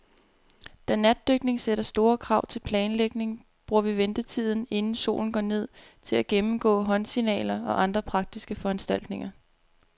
Da natdykning sætter store krav til planlægning, bruger vi ventetiden, inden solen går ned, til at gennemgå håndsignaler og andre praktiske foranstaltninger.